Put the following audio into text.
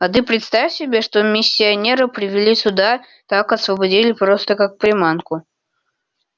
а ты представь себе что миссионера привели сюда так освободили просто как приманку